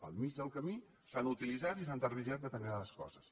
al mig del camí s’han utilitzat i s’han tergiversat determinades coses